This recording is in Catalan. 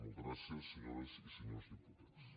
moltes gràcies senyores i senyors diputats